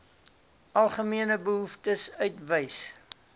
algemene behoeftes uitwys